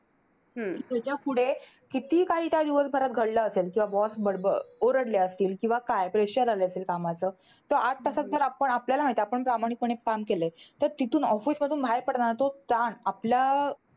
त्याच्यापुढे कितीही काही त्या दिवसभरात घडलं असेल किंवा boss बडबड ओरडले असतील. किंवा काय pressure आलं असेल कामाचं, तर आठ तासात आपण आपल्याला माहित. आपण प्रामाणिकपणे काम केलंय. तर तिथून office मधून बाहेर पडतांना तो ताण आपल्या